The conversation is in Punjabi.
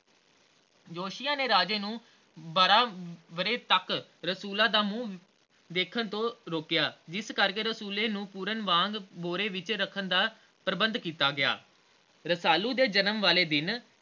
ਜੋਤਸ਼ੀਆਂ ਨੇ ਰਾਜੇ ਨੂੰ ਬਾਰਹ ਵਰ੍ਹੇ ਤਕ ਰਸੂਲਾਂ ਦਾ ਮੂੰਹ ਦੇਖਣ ਤੋਂ ਰੋਕਿਆ ਜਿਸ ਕਰਕੇ ਰਸੂਲੇ ਨੂੰ ਪੂਰਨ ਵਾਂਗ ਬੋਰੇ ਵਿਚ ਰੱਖਣ ਦਾ ਪ੍ਰਬੰਧ ਕੀਤਾ ਗਿਆ